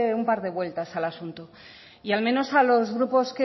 un par de vueltas al asunto y al menos a los grupos